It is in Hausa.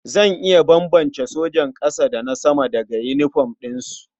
Zan iya bambance sojan ƙasa da na sama daga yinifom ɗinsu.